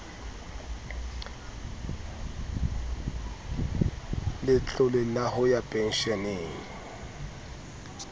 letlole la ho ya pensheneng